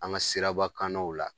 An ŋa sirabakannaw la